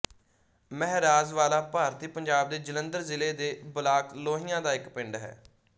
ਮਹਿਰਾਜਵਾਲਾ ਭਾਰਤੀ ਪੰਜਾਬ ਦੇ ਜਲੰਧਰ ਜ਼ਿਲ੍ਹੇ ਦੇ ਬਲਾਕ ਲੋਹੀਆਂ ਦਾ ਇੱਕ ਪਿੰਡ ਹੈ